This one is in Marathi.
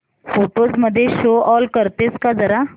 फोटोझ मध्ये शो ऑल करतेस का जरा